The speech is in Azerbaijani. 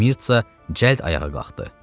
Mirtsa cəld ayağa qalxdı.